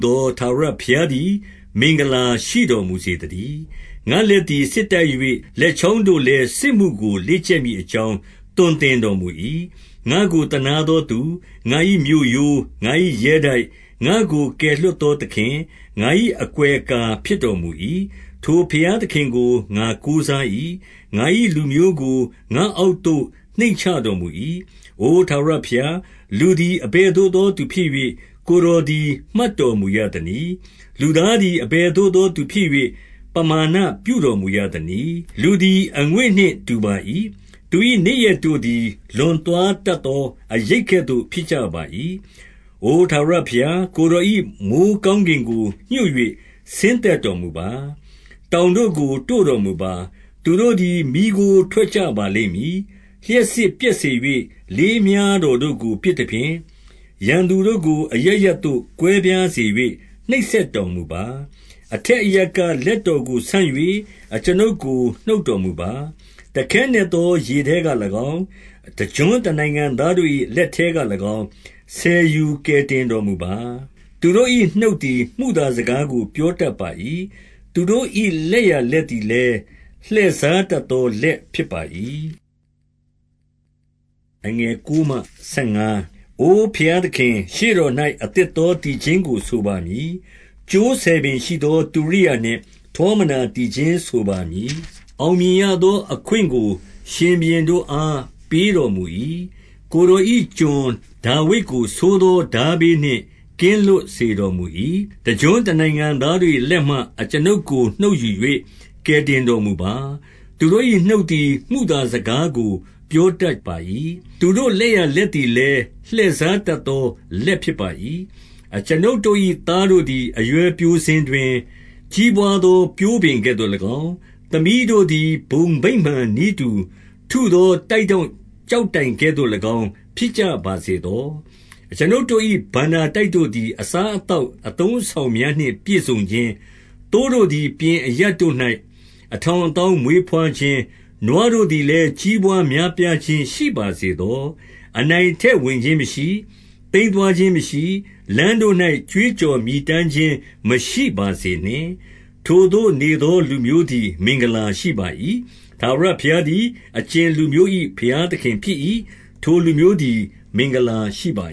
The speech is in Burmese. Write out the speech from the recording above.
သော ထာဝရဘုရား သည် မင်္ဂလာရှိတော်မူစေသတည်း။ ငါ့လက်သည် စစ် တိုက်၍၊ လက်ချောင်းတို့လည်းစစ်မှုကို လေ့ကျက်မည် အကြောင်းသွန်သင်တော်မူ၏။ 2 ငါ့ကိုသနားသောသူ၊ငါ၏မြို့ရိုး၊ ငါ၏ရဲတိုက်၊ ငါ့ကိုကယ်လွှတ်သောသခင်၊ ငါ၏အကွယ်အကာ ဖြစ်တော်မူ၏။ ထိုဘုရားသခင်ကို ငါကိုးစား၏။ ငါ၏ လူမျိုးကို ငါ့အောက်သို့ နှိမ်ချတော်မူ၏။ 3 အိုထာဝရဘုရား၊ လူသည်အဘယ်သို့သော သူဖြစ်၍၊ ကိုယ်တော်သည် မှတ်တော်မူရသနည်း။ လူသားသည် အဘယ်သို့သောသူဖြစ်၍၊ ပမာဏ ပြုတော် မူရသနည်း။ 4 လူသည်အငွေ့နှင့် တူပါ၏။ သူ၏နေ့ရက်တို့သည် လွန်သွားတတ်သော အရိပ်ကဲ့သို့ဖြစ်ကြပါ၏။ 5 အိုထာဝရဘုရား၊ ကိုယ်တော်၏ မိုဃ်း ကောင်းကင်ကို ညွှတ်၍ဆင်းသက်တော်မူပါ။ တောင်တို့ကို တို့တော်မူပါ။ သူတို့သည် မီးခိုးထွက်ကြပါလိမ့်မည်။ 6 လျှပ်စစ်ပြက်စေ၍ လေးမြှားတော်တို့ကို ပစ် သဖြင့်၊ ရန်သူတို့ကို အရပ်ရပ်သို့ကွဲပြားစေ၍ နှိပ်စက် တော်မူပါ။ 7 အထက်အရပ်က လက်တော်ကိုဆန့်၍ အကျွန်ုပ် ကို နှုတ်တော်မူပါ။ တခဲနက်သောရေထဲက၎င်း၊ တကျွန်း တနိုင်ငံသားတို့၏လက်ထဲက၎င်း၊ ဆယ်ယူကယ်တင် တော်မူပါ။ 8 သူတို့၏နှုတ်သည် မုသာစကားကို ပြောတတ် ပါ၏။ သူတို့၏ လက်ျာလက်သည်လည်း လှည့်စားတတ် သော လက်ဖြစ်ပါ၏။ 9 အိုဘုရားသခင်၊ ရှေ့တော်၌ အသစ် သောသီချင်းကို ဆိုပါမည်။ ကြိုးဆယ်ပင်ရှိသော တုရိယာ နှင့်ထောမနာသီချင်းဆိုပါမည်။ 10 အောင်မြင်ရသောအခွင့်ကို ရှင်ဘုရင်တို့အား ပေးတော်မူ၏။ ကိုယ်တော်၏ ကျွန်ဒါဝိဒ်ကိုဆိုးသော ထားဘေးနှင့် ကင်းလွတ်စေတော်မူ၏။ 11 တကျွန်းတနိုင်ငံသားတို့၏လက်မှ၊ အကျွန်ုပ်ကို နှုတ်ယူ၍ ကယ်တင်တော်မူပါ။ သူတို့၏နှုတ်သည် မုသာ စကားကို ပြောတတ်ပါ၏။ သူတို့၏လက်ျာလက်သည် လည်း လှည့်စားတတ်သော လက်ဖြစ်ပါ၏။ 12 အကျွန်ုပ်တို့၏သားတို့သည် အရွယ်ပျိုစဉ်တွင်၊ ကြီးပွါးသော ပျိုးပင်ကဲ့သို့၎င်း၊ သမီးတို့သည် ဘုံဗိမာန် နည်းတူထုသော တိုက်ထောင့်ကျောက်တိုင်ကဲ့သို့၎င်း ဖြစ်ကြပါစေသော။ 13 အကျွန်ုပ်တို့၏ ဘဏ္ဍာတိုက်တို့သည် အစား အသောက်အသုံးအဆောင်များနှင့်ပြည့်စုံခြင်း၊ သိုးတို့ သည် ပြင်အရပ်တို့၌ အထောင်အသောင်းမွေးဘွားခြင်း၊ 14 နွားတို့သည်လည်း ကြီးပွါးများပြားခြင်း ရှိပါ စေသော။ အနိုင်အထက်ဝင်ခြင်းမရှိ။ သိမ်းသွားခြင်းမရှိ။ လမ်းတို့၌ ကြွေးကြော်မြည်တမ်းခြင်းမရှိပါစေနှင့်။ 15 ထိုသို့နေသော လူမျိုးသည် မင်္ဂလာရှိပါ၏။ ထာဝရဘုရားသည် အကြင်လူမျိုး၏ဘုရားသခင်ဖြစ်၏။ ထိုလူမျိုးသည် မင်္ဂလာရှိပါ